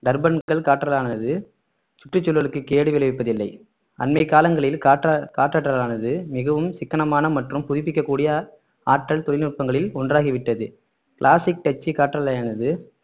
டர்பன்கள் காற்றலானது சுற்றுச்சூழலுக்கு கேடு விளைவிப்பதில்லை அண்மைக் காலங்களில் காற்ற~ காற்றற்றலானது மிகவும் சிக்கனமான மற்றும் புதுப்பிக்கக்கூடிய ஆற்றல் தொழில்நுட்பங்களில் ஒன்றாகிவிட்டது கிளாசிக் டச்சு காற்றலையானது